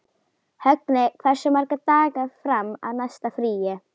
Högni, hversu margir dagar fram að næsta fríi?